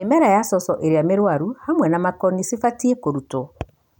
Mĩmera ya coco ĩria mĩrwaru hamwe na makoni cibatie kũrutwa.